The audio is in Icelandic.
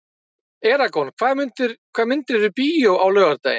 Eragon, hvaða myndir eru í bíó á laugardaginn?